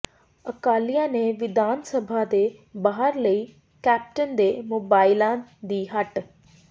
ਅਕਾਲੀਆਂ ਨੇ ਵਿਧਾਨ ਸਭਾ ਦੇ ਬਾਹਰ ਲਾਈ ਕੈਪਟਨ ਦੇ ਮੋਬਾਇਲਾਂ ਦੀ ਹੱਟ